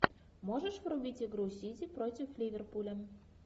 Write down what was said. можешь врубить игру сити против ливерпуля